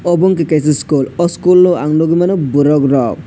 obo ungkha kaisa school oh school ang nukgwimano borok rok.